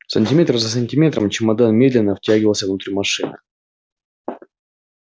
сантиметр за сантиметром чемодан медленно втягивался внутрь машины